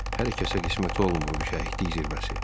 Hər kəsə qismət olmur bu şəhidlik zirvəsi.